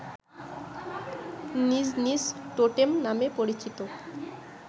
নিজ নিজ টোটেম নামে পরিচিত